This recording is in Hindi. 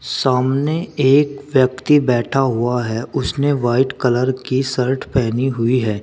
सामने एक व्यक्ति बैठा हुआ है उसने वाइट कलर की शर्ट पहनी हुई है।